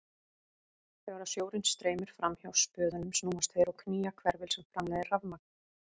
Þegar sjórinn streymir fram hjá spöðunum snúast þeir og knýja hverfil sem framleiðir rafmagn.